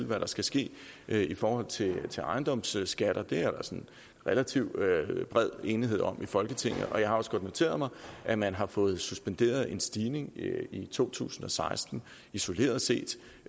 hvad der skal ske i forhold til til ejendomsskatter det er der sådan relativt bred enighed om i folketinget jeg har også godt noteret mig at man har fået suspenderet en stigning i to tusind og seksten isoleret set